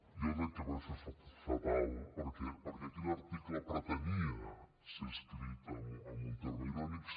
jo ho dec haver fet fatal perquè aquell article pretenia ser escrit amb un terme irònic